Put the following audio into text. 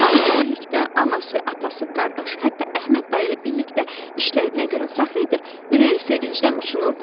O hamı ilə birlikdə anası, atası, qardaşı, hətta Əhməd dayı ilə birlikdə işlədiyinə görə fəxr edir, ürəyi sevincdən uçunurdu.